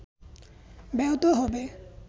ব্যাহত হবে